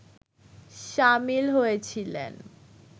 সামিল হয়েছিলেন